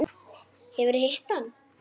Hefurðu hitt hann?